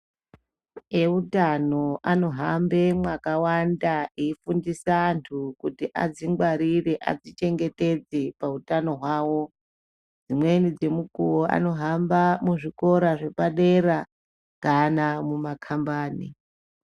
Eutano anohamba mwakawnda eifundisa antu kuti adzingwarire adzichengetedze pahutano hwawo dzimweni dzemukuwo anohamba muzvikora zvepadera kana mumakambani.